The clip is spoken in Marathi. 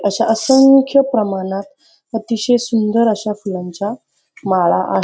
अश्या असंख्य प्रमाणात अतिशय सुंदर अश्या फुलांच्या माळा आ --